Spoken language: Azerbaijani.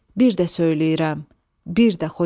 Bir də söyləyirəm, bir də Xocalı.